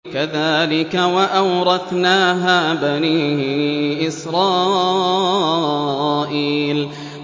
كَذَٰلِكَ وَأَوْرَثْنَاهَا بَنِي إِسْرَائِيلَ